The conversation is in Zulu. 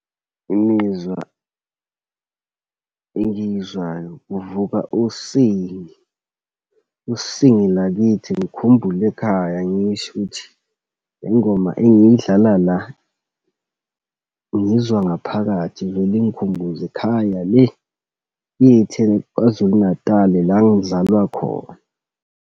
Imizwa engiyizwayo kuvuka usingi. Usingi lakithi, ngikhumbule ekhaya, ngisho ukuthi le ngoma engayidlala la, ngiyizwa ngaphakathi, ivele ingikhumbuze ekhaya le kithi, Kwa-Zulu Natali la ngizalwa khona.